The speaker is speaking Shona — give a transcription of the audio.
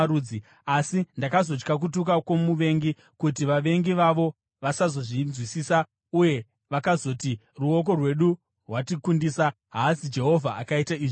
asi ndakazotya kutuka kwomuvengi, kuti vavengi vavo vasazozvinzwisisa uye vakazoti, ‘Ruoko rwedu rwatikundisa; haazi Jehovha akaita izvi zvose.’ ”